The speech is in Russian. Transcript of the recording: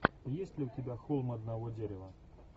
есть ли у тебя холм одного дерева